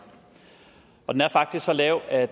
og den er faktisk så lav at